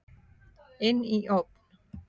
Inn í ofn.